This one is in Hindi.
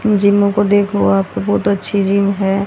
इन जीमो को देखो आपको बहोत अच्छी जिम है।